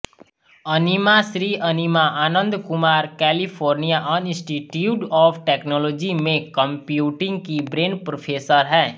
Animashree Anima Anandkumar California Institute of Technology में computing की Bren professor हैं